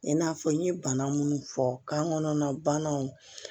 I n'a fɔ n ye bana minnu fɔ kan kɔnɔna banaw